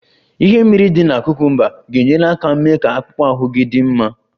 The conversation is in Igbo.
Ihe mmiri dị na cucumbers ga-enyere aka mee ka akpụkpọ ahụ gị dị mma